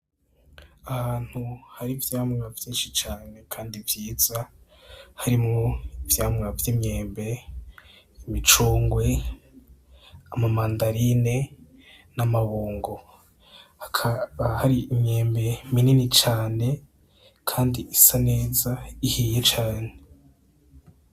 Ahantu hari ivyamwa vyinshi cane kandi vyiza, karimwo ivyamwa vy'imyembe ; imicungwe ;ama mandarine n'amabungo hakaba hari imyembe minini cane kandi isa neza ihiye cane.